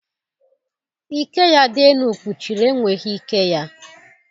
Ike ya dị elu kpuchiri enweghị ike ya.